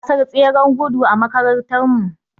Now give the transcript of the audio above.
Za a yi gasar tseren gudu a makarantarmu.